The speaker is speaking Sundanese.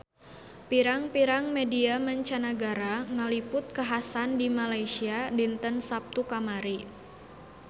Pirang-pirang media mancanagara ngaliput kakhasan di Malaysia dinten Saptu kamari